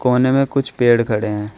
कोने में कुछ पेड़ खड़े हैं।